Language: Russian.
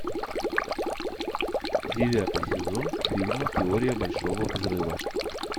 девятый сезон фильма теория большого взрыва